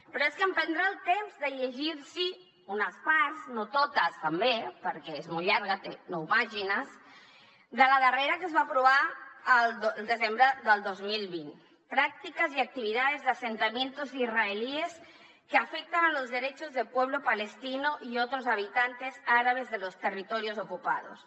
però és que em prendré el temps de llegir los unes parts no totes també perquè és molt llarga té nou pàgines de la darrera que es va aprovar al desembre del dos mil vint prácticas y actividades de asentamientos israelíes que afectan a los derechos del pueblo palestino y otros habitantes árabes de los territorios ocupados